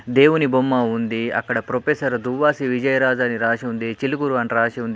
దేవుని బొమ్మ ఉంది. అక్కడ ప్రొపెసర్ దువ్వాసి విజయరాజు అని రాసి ఉంది. చిలుకూరు అని రాసి ఉంది.